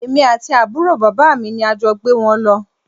Èmi àti àbúrò bàbá mi ni a jọ gbé wọn lọ